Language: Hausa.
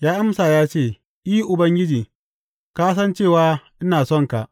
Ya amsa ya ce, I, Ubangiji, ka san cewa ina sonka.